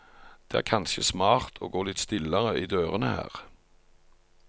Det er kanskje smart å gå litt stillere i dørene her.